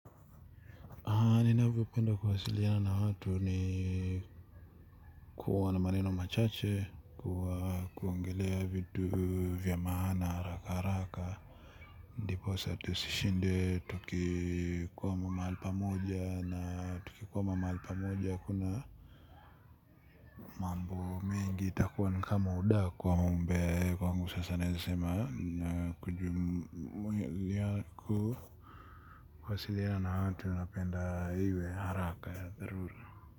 Haa ninavyopenda kuwasiliana na watu ni kuwa na maneno machache kuwa kuongelea vitu vya maana haraka haraka ndiposa tusishinde tukikwama mahali pa moja na tukikwama mahali pa moja kuna mambo mengi itakuwa ni kama udaku ama umbea kwangu sasa naeza sema na kujumulia ku kuwasiliana na watu napenda iwe haraka dharura.